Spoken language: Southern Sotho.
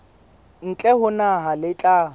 ntle ho naha le tla